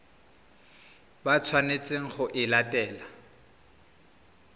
ba tshwanetseng go e latela